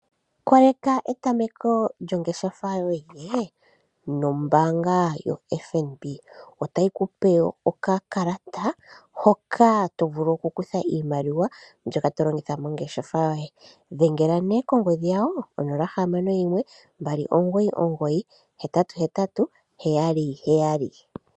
Etameko lyongeshefa yoye nombaanga yoFNB otayi kupe okakalata hoka tokala tolongitha mongeshefa yoye, dhengela nee kongodhi yawo 061 2998877.